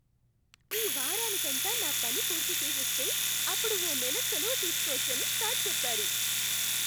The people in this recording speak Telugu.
ఈ వారానికంతా నా పని పూర్తి చేసేస్తే అప్పుడు ఓ నెల సెలవు తీసుకోవచ్చని సర్ చెప్పారు!